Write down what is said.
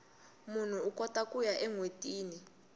munhu ukota kuya enwetini